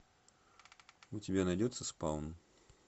у тебя найдется спаун